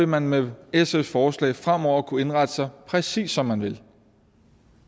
man med sfs forslag fremover kunne indrette sig præcis som man vil